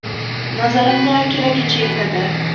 Nazarimizda, keragicha yetadi.